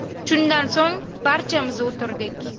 Shundan so‘ng barchamiz o‘tirdik.